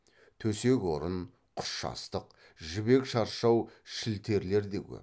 төсек орын құс жастық жібек шаршау шілтерлер де көп